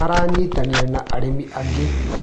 Aranyitanĩire na arĩmi aingĩ.